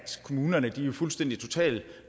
kommunerne fuldstændig totalt